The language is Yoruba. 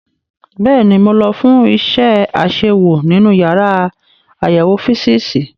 Bẹ́ẹ̀ni, mo lọ fún iṣẹ́ àṣewò nínú yàrá àyẹ̀wò físììsì.